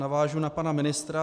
Navážu na pana ministra.